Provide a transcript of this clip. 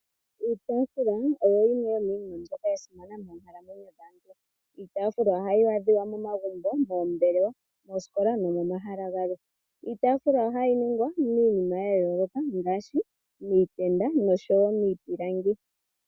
Iitaafula oyo yimwe yomiinima mbyoka ya simana moonkalamwenyo dhaantu. Yo ohayi adhika momagumbo, moombelewa, moosikola nomomahala galwe. Iitaafulwa ohayi longwa miinima ya yooloka, ngaashi miipilangi nomiitenda.